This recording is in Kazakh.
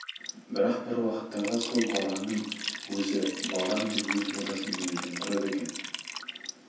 бірақ бір уақыттарда сол балаңның өзі балам деп өз баласын еміреніп тұрады екен